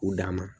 U dan ma